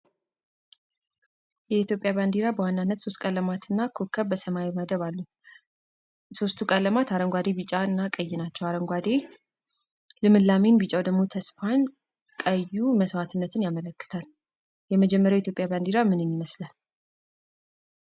የኢትዮጵያ ባዲራ በዋናነት ሶስት ቀለማትና ኮከብ በሰማያዊ መደብ አለው። ሶስቱ ቀለማት አረጓዴ ቢጫና ቀይ ናቸው። አረጓዴ ልምላሜን ቢጫው ተስፋን ቀዩ መስዋትነትን ያመለክታል። የመጀመርያው የኢትዮጵያ ባዲራ ምንን ይመስላል?